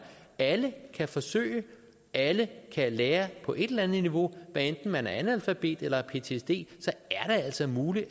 alle kan forsøge alle kan lære på et eller andet niveau hvad enten man er analfabet eller har ptsd er det altså muligt